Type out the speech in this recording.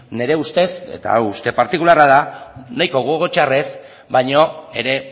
nire ustez eta hau uste partikularra da nahiko gogo txarrez baino ere